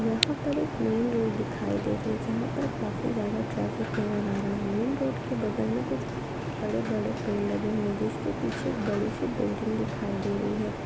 यहाँ पर एक मैन रोड दिखाई दे रही हैं। जहाँ पर काफ़ी ज्यादा ट्रैफिक नजर आ रहा हैं। मैन रोड के बगल में कुछ बड़े बड़े पेड़ लगे हुए हैं। जिस के पीछे बड़ी सी बिल्डिंग दिखाई दे रही हैं।